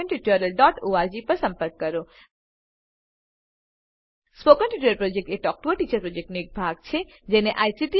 spoken tutorial project talk to a teacher પ્રોજેક્ટનો એક ભાગ છે